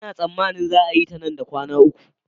Ina tsammanin za a yi ta nan da kwana uku